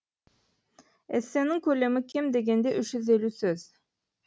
эссенің көлемі кем дегенде үш жүз елу сөз